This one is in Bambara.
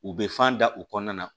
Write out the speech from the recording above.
U bɛ fan da u kɔnɔna na